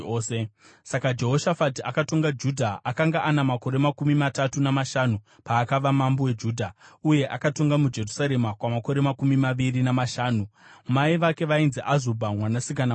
Saka Jehoshafati akatonga Judha. Akanga ana makore makumi matatu namashanu paakava mambo weJudha, uye akatonga muJerusarema kwamakore makumi maviri namashanu. Mai vake vainzi Azubha mwanasikana waShiri.